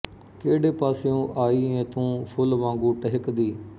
ਕਿਹੜੇ ਪਾਸਿਉ ਆਈ ਏ ਤੂੰ ਫੁੱਲ ਵਾਗੂੰ ਟਹਿਕਦੀ